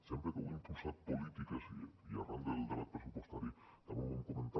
sempre que heu impulsat polítiques i arran del debat pressupostari també ho vam comentar